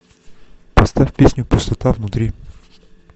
поставь песню пустота внутри